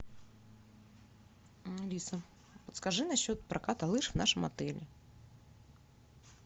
алиса подскажи на счет проката лыж в нашем отеле